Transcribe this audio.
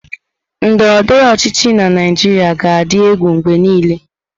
Ndọrọ ndọrọ ọchịchị na Naịjirịa ga-adị egwu mgbe niile.